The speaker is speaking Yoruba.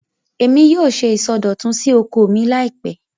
Èmi yóò ṣe ìsọdọ̀tun sí oko mi láìpẹ́